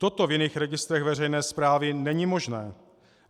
Toto v jiných registrech veřejné správy není možné.